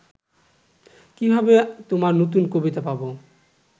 কিভাবে তোমার নতুন কবিতা পাবো